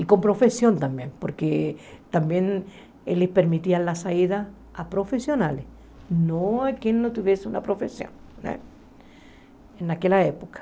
E com profissão também, porque também eles permitiam a saída a profissionais, não a quem não tivesse uma profissão né naquela época.